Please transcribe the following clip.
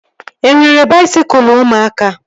E nwere baisikụl ụmụaka